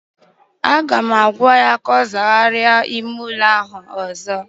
Aga m agwa ya ka ọ zagharịa ime ụlọ ahụ ọzọ!